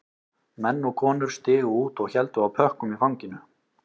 Menn og konur stigu út og héldu á pökkum í fanginu